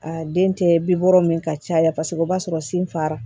A den tɛ bi wɔɔrɔ min ka caya paseke o b'a sɔrɔ sinfara